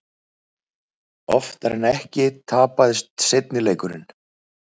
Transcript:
Oftar en ekki tapaðist seinni leikurinn.